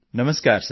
Namaskar sir